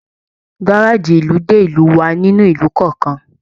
Gárájí ìlú dé ìlú wá nínú ìlú kọọkan.